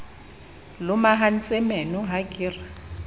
lomahantse meno ha ke re